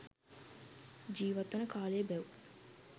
ජීවත්වන කාලය බැව්